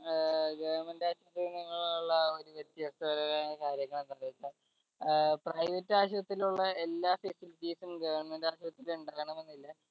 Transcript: ഏർ government ആശൂത്രിയിൽ നിന്നും ഉള്ള ആ ഒരു വ്യത്യസ്ഥ പരമായ കാര്യങ്ങൾ എന്തെച്ച ഏർ private ആശുത്രിയിലുള്ള എല്ലാ facilities ഉം government ആശൂത്രയിൽ ഇണ്ടാകണമെന്നില്ല